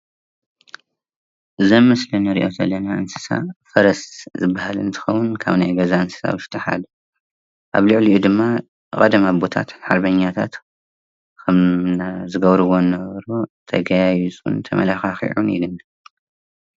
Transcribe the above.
እዚ አብ ምስሊ እንሪኦ ዘለና እንስሳ ፈረስ እንትባሃል እንትኮን ካብ ገዛ እንስሳ ውሽጢ አብ ልዕሊኡ ድማ ሃርበኛታት ከም ዝገብርዎ ዝነበሩን ተጋያይፁን ተመላኪዑን ይነብር፡፡